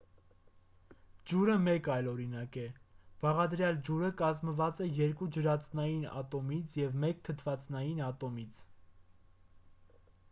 ջուրը մեկ այլ օրինակ է բաղադրյալ ջուրը կազմված է երկու ջրածնային ատոմից և մեկ թթվածնային ատոմից